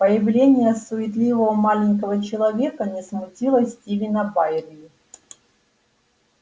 появление суетливого маленького человека не смутило стивена байерли